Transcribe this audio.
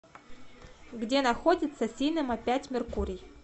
где находится синема пять меркурий